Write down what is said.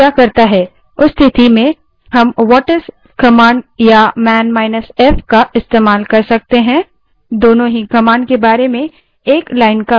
उस स्थिति में हम whatis command या man –f command का इस्तेमाल कर सकते हैं दोनों ही command के बारे में एक line का विवरण देते हैं